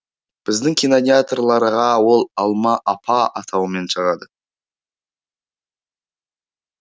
біздің кинотеатрларға ол алма апа атауымен шығады